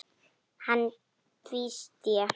Hann tvísté.